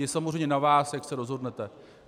Je samozřejmě na vás, jak se rozhodnete.